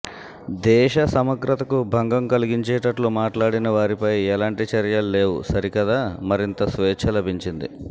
దేశ సమగ్రతకు భంగం కలిగించేటట్లు మాట్లాడిన వారిపై ఎలాంటి చర్యల్లేవు సరికదా మరింత స్వేచ్ఛ లభించింది